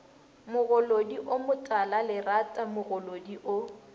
mogolodi o motalalerata mogolodi o